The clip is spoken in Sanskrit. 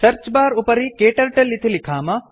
सर्च् बार् उपरि क्टर्टल इति लिखाम